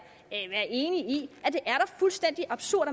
fuldstændig absurd